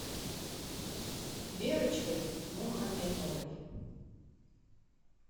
верочкой мухаметовой